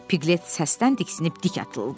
Piqlet səsdən diksinib dik atıldı.